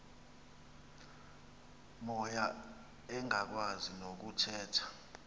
moya engakwazi nokuthetha